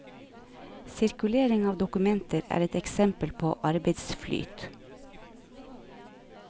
Sirkulering av dokumenter er et eksempel på arbeidsflyt.